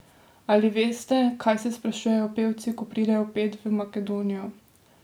Ali veste, kaj se sprašujejo pevci, ko pridejo pet v Makedonijo?